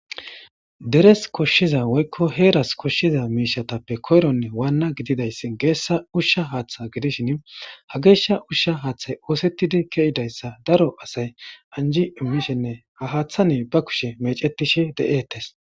Deres koshshiza woykko heeras koshshiza miishatappe koyronne waanna gididayss geessa ushsha haaththa gidishin ha geeshsha ushsha haaththay oosettidi ke7idayssa daro asay anji immishenne ha haaththani ba kushe meecettishe de7eettes.